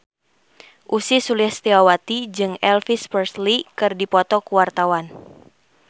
Ussy Sulistyawati jeung Elvis Presley keur dipoto ku wartawan